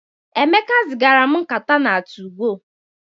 Emeka zigara m nkata na 2go.